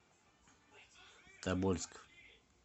тобольск